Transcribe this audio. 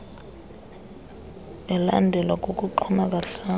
elandelwa kukuxhuma kahlanu